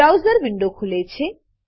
browser window ખુલે છે